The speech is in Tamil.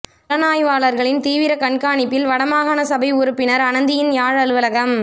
புலனாய்வாளர்களின் தீவிர கண்காணிப்பில் வட மாகாணசபை உறுப்பினர் அனந்தியின் யாழ் அலுவலகம்